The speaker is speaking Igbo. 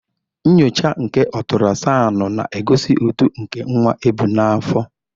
Nnyocha nke otrasicanu na-egosi uto nke nwa ebu n'afọ.